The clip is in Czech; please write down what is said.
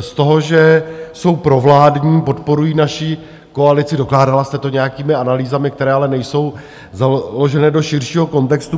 z toho, že jsou provládní, podporují naši koalici, dokládala jste to nějakými analýzami, které ale nejsou založené do širšího kontextu.